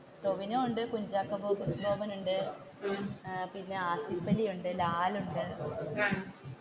ടോവിനോ ഉണ്ട് കുഞ്ചാക്കോ ബോബൻ ഉണ്ട് പിന്നെ ആസിഫലി ഉണ്ട് ലാലുണ്ട്.